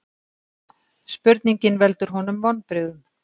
Spurningin veldur honum vonbrigðum.